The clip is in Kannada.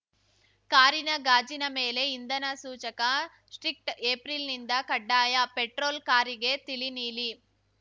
ಕಾರಿನ ಗಾಜಿನ ಮೇಲೆ ಇಂಧನ ಸೂಚಕ ಸ್ಟಿಕ್ಟ್ ಏಪ್ರಿಲಿಂದ ಕಡ್ಡಾಯ ಪೆಟ್ರೋಲ್‌ ಕಾರಿಗೆ ತಿಳಿ ನೀಲಿ